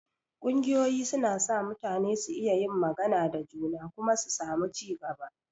Ƙungiyoyi suna sa mutane su iya yin magana da juna kuma su samu ci gaba.